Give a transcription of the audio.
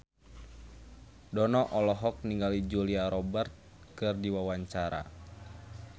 Dono olohok ningali Julia Robert keur diwawancara